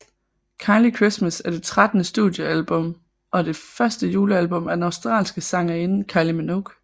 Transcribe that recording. Kylie Christmas er det trettende studiealbum og det første julealbum af den australske sangerinde Kylie Minogue